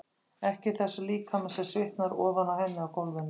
Ekki í þessum líkama sem svitnar ofan á henni á gólfinu.